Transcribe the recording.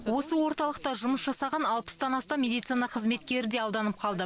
осы орталықта жұмыс жасаған алпыстан астам медицина қызметкері де алданып қалды